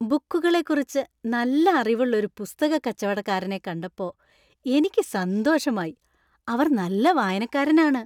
ബുക്കുകളെ കുറിച്ച് നല്ല അറിവുള്ള ഒരു പുസ്തക കച്ചവടക്കാരനെ കണ്ടപ്പോ എനിക്ക് സന്തോഷമായി . അവര്‍ നല്ല വായനക്കാരന്‍ ആണ്.